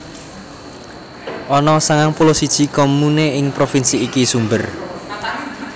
Ana sangang puluh siji comune ing provinsi iki sumber